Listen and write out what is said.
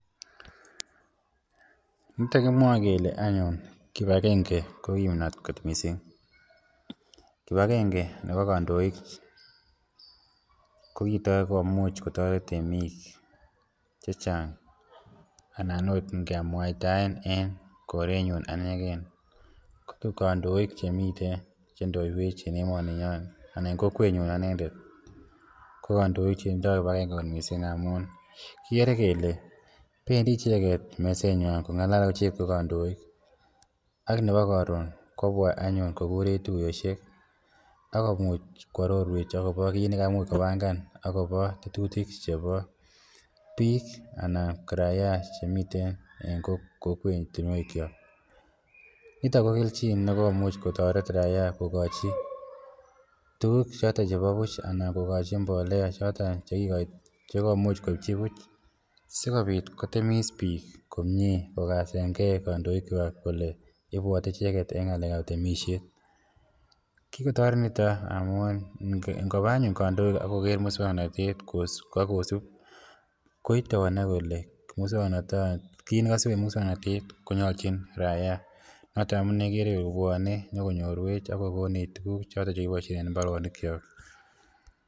Nito kimwoe kele anyun kipagenge kot kipnot missing, kipagenge nebo kandoik, kokigomuch kotoret temik checheng anan ot ngemuataen en korenyun anegen, ko kandoik chemiten chendoiwech en emoninyon ana en kokwenyun anendet ko kandoik chetindo kipagenge kot missing amun kigere kele pendi icheget mesenywan kong'alal icheget kogandoik ak nebo karon kobwa anyun kogurech tuiyosiek akomuch koarorwech akobo kiit negaimuch kopangan kobo tetutik chebo biik anan raia chemiten en kokwatinuekyok, niton ko kelchin nikokomuch kotoret raia kogochi tuguk choton chebo buch anan kogochi mbolea choton chekikomuch koibchi buch sikobit kotemis biik komyee kogasengen kandoikwak kole ibwote icheget en ng'alek ab temisiet, kikotoret niton amun ngoba anyun kandoik ak koger musong'notet ak kosib koite konai kole kiit nakasib en musongn'notet konyolchin raia noton amune igere kole kobwone inyokonyorwech akokonech tuguk choton chekiboisien en mbaronikyok